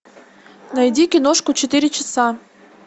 найди киношку четыре часа